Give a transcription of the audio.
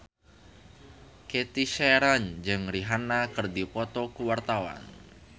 Cathy Sharon jeung Rihanna keur dipoto ku wartawan